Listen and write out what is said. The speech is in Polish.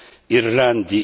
Irlandii?